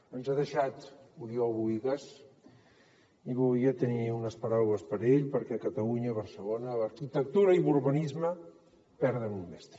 ens ha deixat oriol bohigas i volia tenir unes paraules per a ell perquè catalunya barcelona l’arquitectura i l’urbanisme perden un mestre